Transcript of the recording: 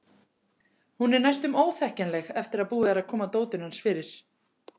Hún er næstum óþekkjanleg eftir að búið er að koma dótinu hans fyrir.